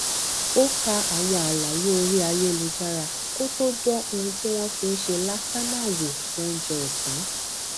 ó ka àwọn àlàyé orí ayélujára kó tó dán ohun tí wón fi ń ṣe làsánà wò fún oúnjẹ òsán